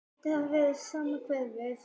Skyldi það vera sama hverfið?